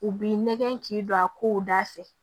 U b'i nɛgɛn k'i don a kow da fɛ